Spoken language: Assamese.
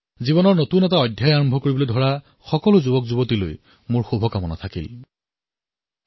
নতুন জীৱন আৰম্ভ কৰা যুৱকযুৱতীসকলক মই শুভকামনা জনাইছোঁ